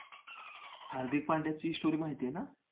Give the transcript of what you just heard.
हार्दिक पांड्याची story माहिती आहे ना?